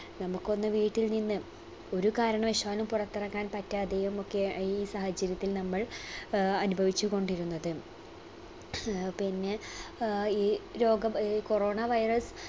നമുക്കൊന്ന് വീട്ടിൽ നിന്ന് ഒരു കാരണവശാലും പുറത്തിറങ്ങാൻ പറ്റാതെയും ഒക്കെ ഈ സാഹചര്യത്തിൽ നമ്മൾ ആഹ് അനുഭവിച്ച് കൊണ്ടിരുന്നത്. ആഹ് പിന്നെ ഏർ ഈ രോഗം ഏർ corona virus